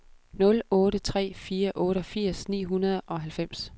nul otte tre fire otteogfirs ni hundrede og halvfems